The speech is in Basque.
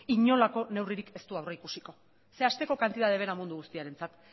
inolako neurririk ez du aurreikusiko ze hasteko kantitate bera mundu guztiarentzat